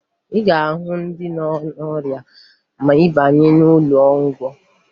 Ị ga-ahụ ndị nọ n'ọrịa ma ị baa n'ụlọọgwụ